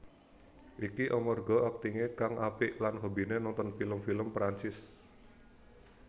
Iki amarga aktingé kang apik lan hobiné nonton film film Perancis